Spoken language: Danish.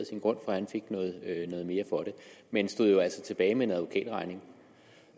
sin grund for han fik noget mere for den men stod jo altså tilbage med en advokatregning